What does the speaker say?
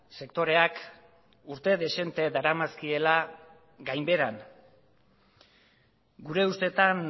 sektoreak urte dezente daramazkiela gainbeheran gure ustetan